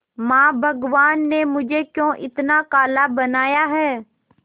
मां भगवान ने मुझे क्यों इतना काला बनाया है